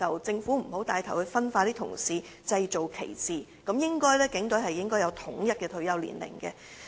政府不應帶頭分化他們，製造歧視，警隊人員應有統一的退休年齡。